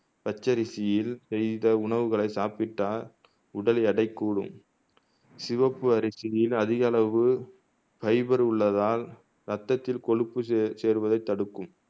பச்சரிசியில் செய்த உணவுகளை சாப்பிட்டால் உடல் எடை கூடும் சிவப்பு அரிசியில் அதிக அளவு ஃபைபர் உள்ளதால் ரத்ததில் கொழுப்பு சேர் சேர்வதை தடுக்கும்